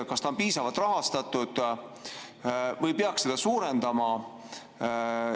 Kas need on piisavalt rahastatud või peaks rahastust suurendama?